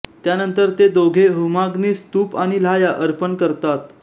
त्यानंतर ते दोघे होमाग्नीस तूप आणि लाह्या अर्पण करतात